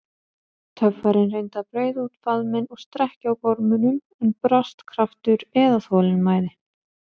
Töffarinn reyndi að breiða út faðminn og strekkja á gormunum, en brast kraftur eða þolinmæði.